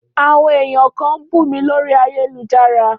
Áwõn èyan kan n bú mí lòrí àyélujárá